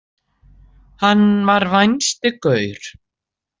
Hann var vænsti gaur.